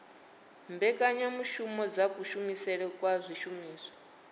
mbekanyamushumo dza kushumisele kwa zwishumiswa